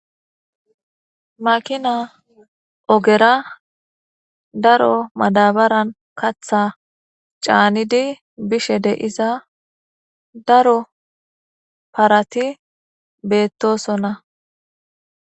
makina ogera daro madabaran katha caanidi bishe deiza daro parati beettosonna